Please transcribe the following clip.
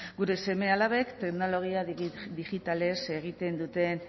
gure seme alabek teknologia digitalez egiten duten